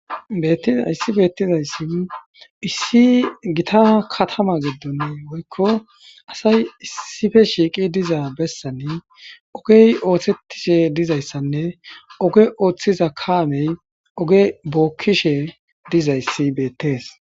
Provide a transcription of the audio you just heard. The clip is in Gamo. Beettin hayssi beettizayssi issi gita katama giddon woykko asay issippe shiiqqi diza bessan ogey ooththettishe dizayssanne oge ooththiza kaamey oge bokkishe dizayssi beettes.